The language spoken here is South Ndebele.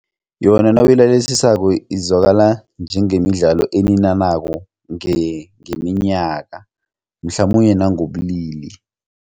Yona nawuyilalelisako izwakala njengemidlalo eninanako ngeminyaka mhlamunye nangobulili.